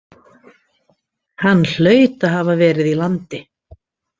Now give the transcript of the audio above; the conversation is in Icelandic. Hann hlaut að hafa verið í landi.